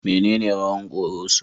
Menene rawan Koroso?